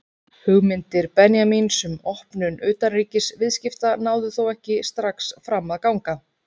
Hugmyndir Benjamíns um opnun utanríkisviðskipta náðu þó ekki strax fram að ganga.